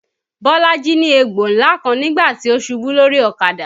Bolaji ní egbò ńlá kan nígbà tí ó ṣubú lórí ọ̀kadà